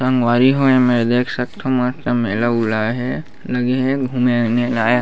संगवारी हो एमे देख सकथो मस्त मेला - वेला हे लगी हे घूमेल आए --